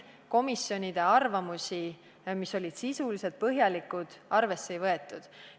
Komisjonide arvamusi, mis olid sisulised ja põhjalikud, arvesse ei võetud.